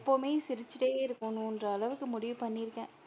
எப்பமே சிரிச்சிகிட்டே இருக்கணும்னுன்ற அளவுக்கு முடிவு பண்ணி இருக்கேன்.